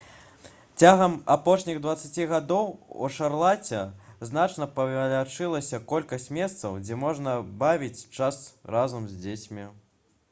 цягам апошніх 20 гадоў у шарлаце значна павялічылася колькасць месцаў дзе можна бавіць час разам з дзецьмі